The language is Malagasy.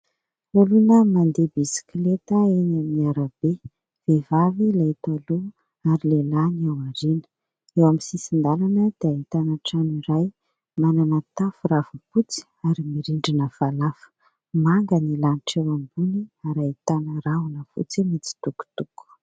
Olona mandeha bisikileta eny amin'ny arabe. Vehivavy ilay eto aloha ary lehilahy eo aoriana. Eo amin'ny sisin-dalana dia ahitana trano iray manana tafo ravim-potsy ary mirindrina falafa. Manga ny lanitra eny ambony ary ahitana rahona mitsitokotoko.